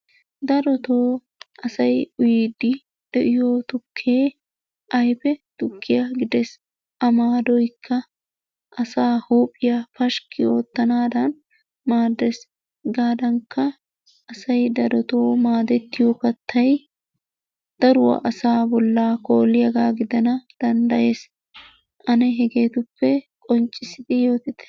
Darottoo asay uyyidi de'iyo tukkee ayfe tukkiyaa gidees. A maadoykka asay huuphiyaa pashkki oottanadan maaddees. Hegadankka asay darottoo maadettiyo kattaa daruwaa asa bolla kooliyaaga giddana danddayees. Ane hegetuppe qonccissidi yoottite.